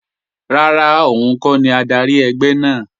Rárá, òun kọ́ ni adarí ẹgbẹ́ náà